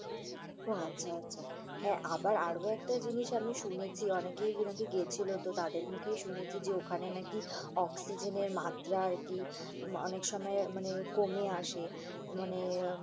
উহ আচ্ছা, আচ্ছা। হ্যাঁ, আবার আরো একটা জিনিস আমি শুনেছি অনেকেই নাকি গিয়েছিল তো তাদের মুখেই শুনেছি যে, ওখানে নাকি oxygen এর মাত্রা আরকি অনেক সময় মানে কমে আসে মানে